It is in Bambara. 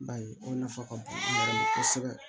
Ba ye o nafa ka bon baara ma kosɛbɛ